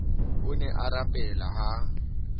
o ne a rapela ha